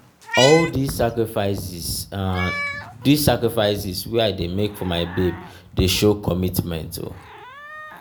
na all dese sacrifices dese sacrifices wey i dey make for my babe dey show commitment.